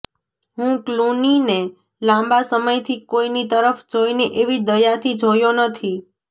હું ક્લૂનીને લાંબા સમયથી કોઈની તરફ જોઈને એવી દયાથી જોયો નથી